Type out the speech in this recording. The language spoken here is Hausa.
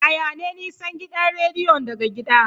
Yaya ne nisan gidan rediyon daga gida?